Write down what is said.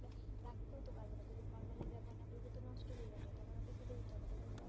রাখতেও তো পারবে না যদি formalin না ব্যবহার না করবে নাতো নষ্ট হয়ে যাবে তখন ওকে ফেলে দিতে হবে